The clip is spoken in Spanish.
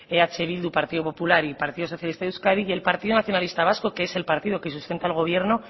eh bildu partido popular y partido socialista de euskadi y el partido nacionalista vasco que es el partido que sustenta el gobierno